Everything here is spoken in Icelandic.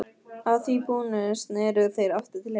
Að því búnu sneru þeir aftur til hinna.